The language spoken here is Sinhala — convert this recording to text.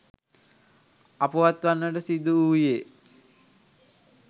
අපවත් වන්නට සිදුවූයේ